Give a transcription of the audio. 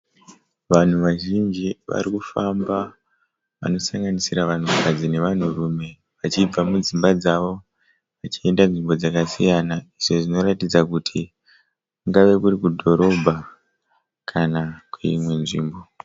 Vanhu vazhinji varikufamba vanosanganisira vanhukadzi nevanhurume vachibva mudzimba dzavo vachienda kunzvimbo dzakasiyana izvo zvinoratidza kuti kungava kuri kudhorobha kana kuimwe nzvimbo.